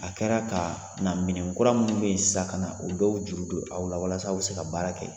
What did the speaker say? A kɛra ka na minɛn kura minnu bɛ yen sisan ka na o dɔw juru don aw la walas'aw bɛ se ka baara kɛ